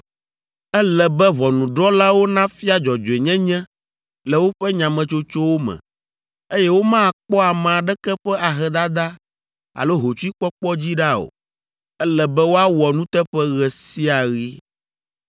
“ ‘Ele be ʋɔnudrɔ̃lawo nafia dzɔdzɔenyenye le woƒe nyametsotsowo me, eye womakpɔ ame aɖeke ƒe ahedada alo hotsuikpɔkpɔ dzi ɖa o. Ele be woawɔ nuteƒe ɣe sia ɣi.